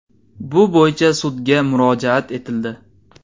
Bu bo‘yicha sudga murojaat etildi.